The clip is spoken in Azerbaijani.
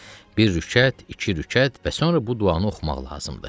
Bir rükət, iki rükət və sonra bu duanı oxumaq lazımdır.